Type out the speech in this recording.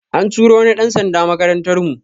An turo wani ɗan sanda makarantar mu